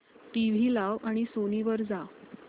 TV लाव आणि Sony वर जा